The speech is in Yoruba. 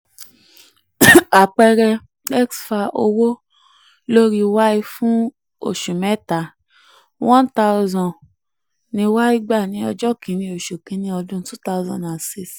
àpẹẹrẹ: x fa ìwé owó lórí y fún oṣù three iye one thousand; y gbà ní ọjọ́ one / one / two thousand six.